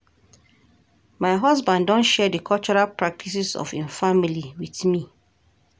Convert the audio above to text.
My husband don share di cultural practices of im family with me.